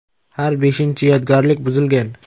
Har beshinchi yodgorlik buzilgan.